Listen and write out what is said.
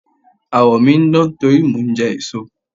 Àwọ̀ mi ń dán nítorí mò ń jẹ èso.